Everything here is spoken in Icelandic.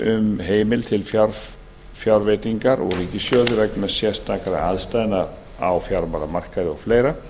um heimild til fjárveitingar úr ríkissjóði vegna sérstakra aðstæðna á fjármálamarkaði og fleira